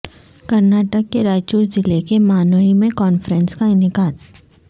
کرناٹک کے رائچور ضلع کے مانوی میں کانفرنس کا انعقاد